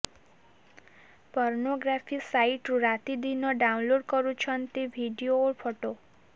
pornography ସାଇଟରୁ ରାତିଦିନ download କରୁଛନ୍ତି ଭିଡିଓ ଓ ଫଟୋ